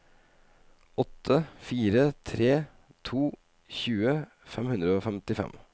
åtte fire tre to tjue fem hundre og femtifem